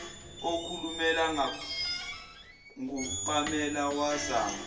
ekhulunywa ngupamela wazama